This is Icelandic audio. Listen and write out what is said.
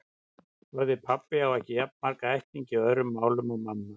Orðið pabbi á ekki jafn marga ættingja í öðrum málum og mamma.